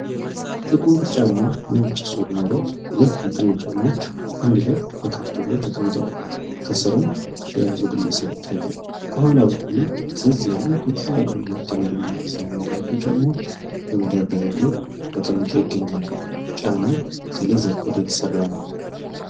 ጥቁር ጫማ ነጭ ሶል ኖሮት ሁለቱም ጫማዎች አንድ ላይ በካርቶን ላይ ተቀምጠዋል ።ከስርም የያዘው ግለሰብ ይታያል። ከኋላ በኩልም ፈዘዝ ያሉ የተለያየ ከለር እና ዲዛይን ያላቸው ጫማዎች ከመደርደሪያው ላይ ተቀምጠው ይገኛሉ ።ጫማው ከሌዘር ቆዳ የተሰራ ነው።